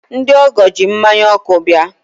ndị ọgọ ji mmanya ọkụ bịa.